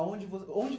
Aonde vo onde?